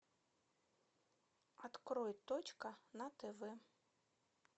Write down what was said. открой точка на тв